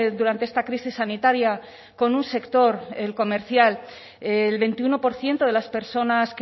durante esta crisis sanitaria con un sector el comercial el veintiuno por ciento de las personas